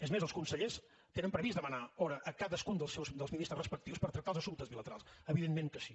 és més els consellers tenen previst demanar hora a cadascun dels ministres respectius per tractar els assumptes bilaterals evidentment que sí